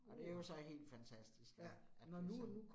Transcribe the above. Og det jo så helt fantastisk at at det sådan